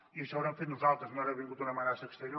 i això ho haurem fet nosaltres no haurà vingut una amenaça exterior